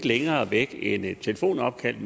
længere væk end et telefonopkald